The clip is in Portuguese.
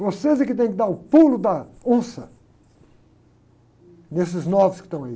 Vocês é que tem que dar o pulo da onça nesses novos que estão aí.